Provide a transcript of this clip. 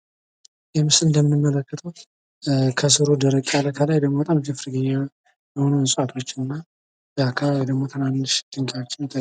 ይህ ምስል እንደምትመለከቱት ከስሩ ደረቅ ያለ ከላይ ደግሞ በጣም ጅፍርር ያለ የሆኑ እንስሳቶች እና በአካባቢው ደግሞ ትንንሽ ድንጋዮች ይታያሉ።